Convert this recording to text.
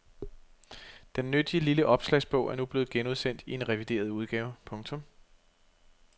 Den nyttige lille opslagsbog er nu blevet genudsendt i en revideret udgave. punktum